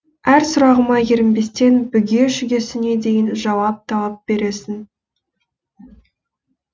әр сұрағыма ерінбестен бүге шүгесіне дейін жауап тауып бересің